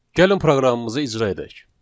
Gəlin proqramımızı icra edək.